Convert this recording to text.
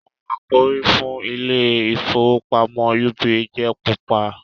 awọ àkòrí fún ìIlé ìfowópamọ́ UBA jẹ pupa.